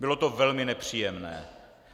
Bylo to velmi nepříjemné.